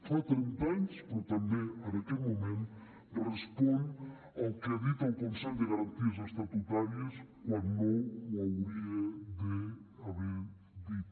fa trenta anys però també en aquest moment respon al que ha dit el consell de garanties estatutàries quan no ho hauria d’haver dit